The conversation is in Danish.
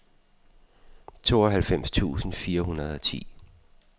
tooghalvfems tusind fire hundrede og ti